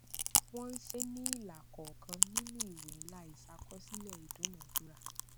wọn ṣe é ní ilà kọọkan nínú ìwé ńlá ìṣàkọsílẹ ìdúnadúrà